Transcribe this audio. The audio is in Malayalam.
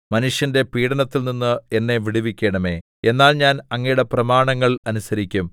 മനുഷ്യന്റെ പീഡനത്തിൽനിന്ന് എന്നെ വിടുവിക്കണമേ എന്നാൽ ഞാൻ അങ്ങയുടെ പ്രമാണങ്ങൾ അനുസരിക്കും